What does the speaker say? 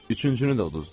Üçüncünü də uduzduq.